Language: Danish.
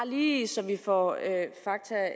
lige så vi får at